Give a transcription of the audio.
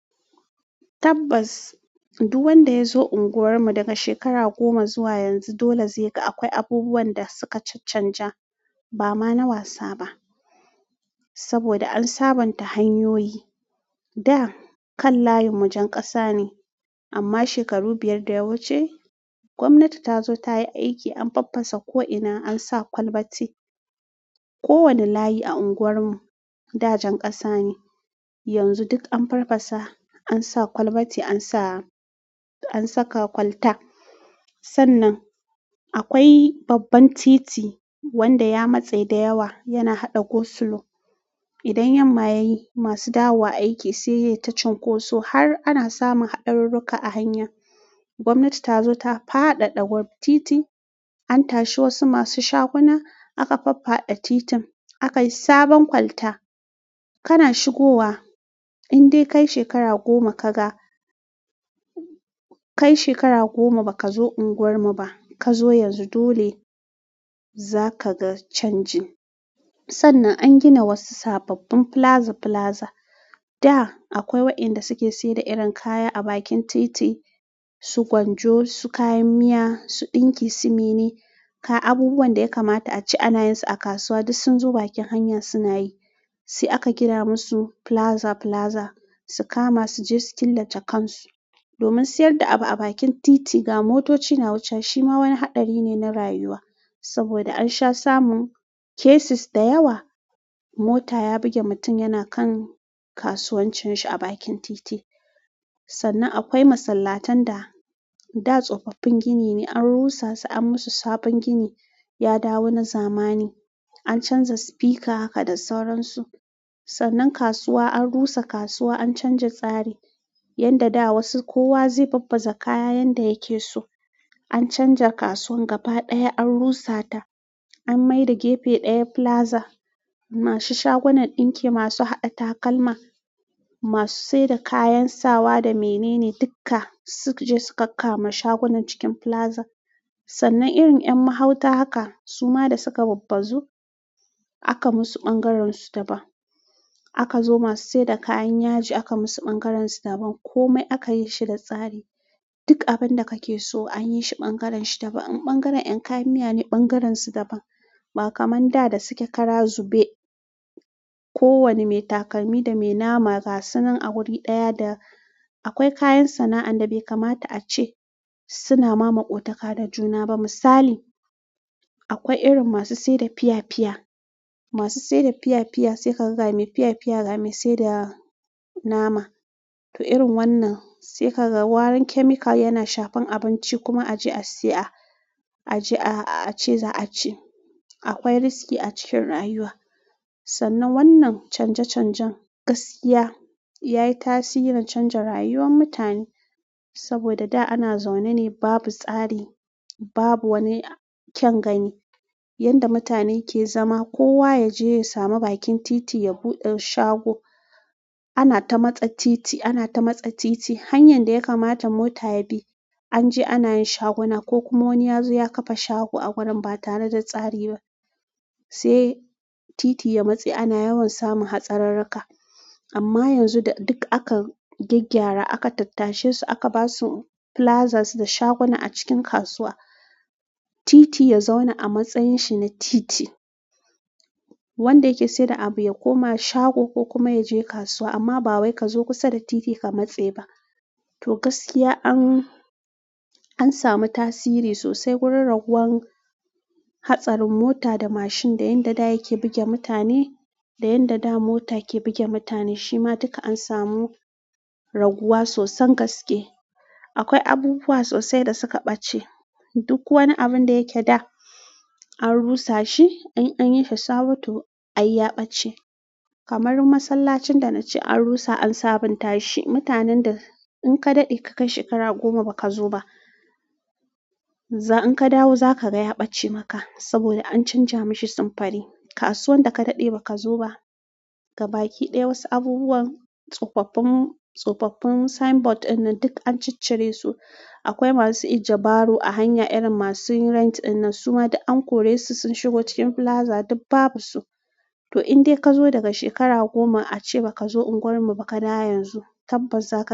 Tabbas, duk wanda ya zo unguwarmu daga shekara goma zuwa yanzu, dole zai ga akwai abubuwan da suka canja. Ba ma na wasa ba, saboda an sabonta hanyoyi. Da kan layinmu jen ƙasa ne, amma shekaru biyar da yawuce gwamnati ta zo ta yi aiki, an faffasa ko'ina, an sa kwalbati. Ko wanne layi a unguwarmu da jan ƙasa ne, yanzu duk an faffasa, an sa kwalbati, an sa-- an saka kwalta. Sannan, akwai babban titi wanda ya matse da yawa, yana haɗa Goslow. Idan yamma ya yi, masu dawowa aiki sai yake ta cunkoso har ana samun haɗarin ruka a hanya. Gwamnati ta zo ta faɗaɗa wurin titi, an tashi wasu masu shaguna aka faffada titin, aka yi sabon kwalta. Kana shigowa in dai kai shekara goma ka ga-- kai shekara goma bakazo unguwarmu ba kazo yanzu dole zakaga canji sannan an gina wasu sababbin filaza-filaza. Da akwai wayanda suke se da irin kaya a bakin titi, su gwanjo, su kayan miya, su ɗinki, su mene. Kai abubuwan da ya kamata a ci anayin su a kasuwa duk sun zo bakin hanya suna yi. Sai aka gina musu filaza-filaza su kama su je su killace kan su. Domin sayar da abu a bakin titi ga motoci na wuce shi ma wani haɗari ne na rayuwa. Saboda ansha samun cases da yawa mota ya buge mutum yana kan kasuwancin shi a bakin titi sannan akwai masallatan da da tsofaffin gini ne an rusa su an musu sabon gini, ya dawo na zamani. An canza sifika haka da sauran su. Sannan kasuwa an rusa kasuwa an canja tsari. Yanda da wasu kowa zai babbaza kaya yanda yake so. An canja kasuwan gaba ɗaya an rusata. An mai da gefe ɗaya filaza. Masu shagunan ɗinki masu haɗa takalma masu se da kayan sawa da mene ne dukka sukaje suka kakkama shagunan da suke cikin filaza sannan irin 'yan mahauta haka suma da suka babbazu aka musu ɓangaren su daban. Aka zo masu sayar da kayan yaji aka musu ɓangaren su daban. Komai akayi shi da tsari duk abin da kake so anyi shi ɓangaren shi daban. Ɓangaren 'yan kayan miya ne ɓangaren su daban. Ba kaman da da suke ƙara zube. Kowane mai takalmi da mai nama gasan nan a wuri ɗaya da akwai kayan sana'an da bai kamata a ce suna ma maƙotaka da juna ba. Misali akwai irin masu se da fiya fiya masu sayar da fiyafiya sai ka ga mai fiyafiya, ga mai sayar da nama. To irin wannan sai ka ga warin chemical yana shafin abinci kuma a je a siya, a je a-- a ci za a ci. Akwai riski a cikin rayuwa. Sannan wannan canje-canjen gaskiya yayi tasiri na canja rayuwan mutane. Saboda da ana zaune ne babu tsari, babu wani kyan gani. Yanda mutane ke zama kowa yaje yasamu bakin titi ya buɗe shago anata matse titi hanyan da ya kamata mota ya bi, an je ana yin shaguna ko kuma wani ya zo ya ƙafa shago a wurin ba tare da tsari ba. Sai titi ya matse ana yawan samun hatsarirka. Amma yanzu duk aka gyaggyara aka tattashe su aka ba su filazas da shaguna a cikin kasuwa. Titi ya zauna a matsayin shi na titi. Wanda yake sayar da abu ya koma shago ko kuma ya je kasuwa amma ba wai ka zo kusa da titi ka matse ba. To gaskiya an, an sami tasiri sosai wurin ragowar hatsarin mota da mashin da yanda da yake buge mutane. Da yanda da mota ke buge mutane shima duka ansamu raguwa sosan gaske akwai abubuwa sosai da suka ɓace. Duk wani abin da yake da, an rusa shi. An, an yi shi sabo to ai ya ɓace. Kamar masallacin da na ce an rusa an sabonta shi. Mutanen da in ka daɗe ka kai shekara goma ba ka zo ba, za-- in ka dawo za ka ga ya ɓace maka. Saboda an canza mashi sanfari kasuwan da ka daɗe ba ka zo ba, gabaki ɗaya wasu abubuwan, tsofaffin, tsofaffin sign board wannan duk an ciccire su. Akwai masu ija baro a hanya irin masu rent wannan suma an kore su sun shigo cikin filaza duk babu su. To in dai ka zo daga shekara goma a ce ba ka zo unguwar mu ba ka da yanzu, tabbas za ka.